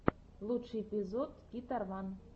лучший эпизод гитарван